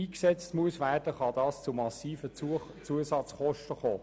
Dadurch können massive Zusatzkosten entstehen.